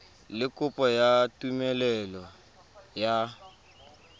le kopo ya tumelelo ya